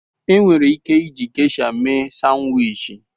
Enwere ike iji Gesha mee Sanwichi.